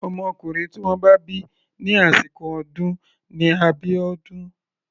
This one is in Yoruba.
Ọmọkùnrin tí wọ́n bá bí ní àsìkò ọdún ni Abiodun.